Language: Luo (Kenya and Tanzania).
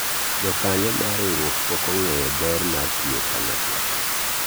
jokanyo mar riwruok pok ong'eyo ber mar tiyo kanyakla